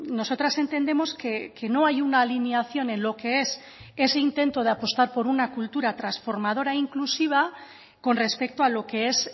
nosotras entendemos que no hay una alineación en lo que es ese intento de apostar por una cultura transformadora inclusiva con respecto a lo que es